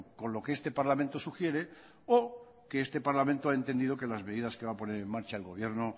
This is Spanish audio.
con lo que este parlamento sugiere o que este parlamento ha entendido que las medidas que va a poner en marcha el gobierno